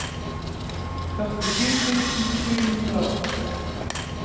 førtisju tusen sju hundre og åtte